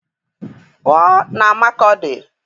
Pụọ na Makọdị!